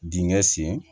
Dingɛ sen